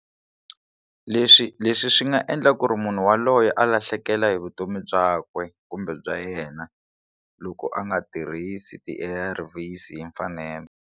Leswi leswi swi nga endla ku ri munhu yaloye a lahlekela hi vutomi byakwe kumbe bya yena loko a nga tirhisi ti A_R_Vs hi mfanelo.